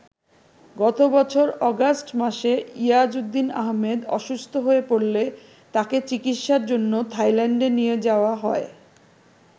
গত বছর অগাস্ট মাসে ইয়াজউদ্দিন আহম্মেদ অসুস্থ হয়ে পড়লে তাঁকে চিকিৎসার জন্য থাইল্যান্ডে নিয়ে যাওয়া হয়।